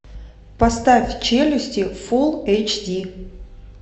поставь челюсти фул эйч ди